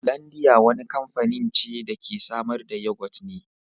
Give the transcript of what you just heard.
Holandiya wani kamfanin ce da ke samar da yagot ne.